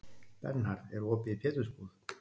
Bernhard, er opið í Pétursbúð?